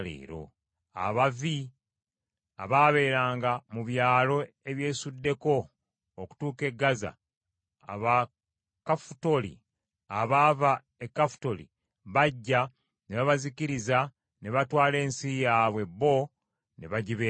Abavi abaabeeranga mu byalo ebyesuddeko okutuuka e Gaza, Abakafutoli abaava e Kafutoli bajja ne babazikiriza ne batwala ensi yaabwe bo ne bagibeeramu.